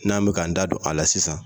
N'an bɛ k'an da don a la sisan.